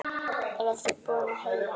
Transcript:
Eruð þið búin að heyja?